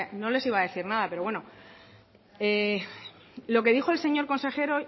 no les iba a decir nada pero bueno lo que dijo el señor consejero